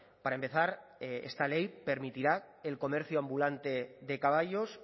para empezar esta ley permitirá el comercio ambulante de caballos